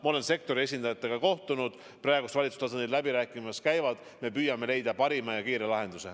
Ma olen sektori esindajatega kohtunud, valitsuse tasandil läbirääkimised käivad, me püüame leida parima ja kiire lahenduse.